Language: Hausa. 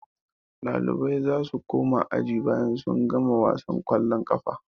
Ɗalibai za su koma aji bayan sun gama wasan ƙwallon ƙafa.